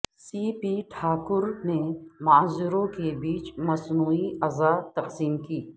سی P Thakur نے معذوروں کے بیچ مصنوعی اعضاء تقسیم کی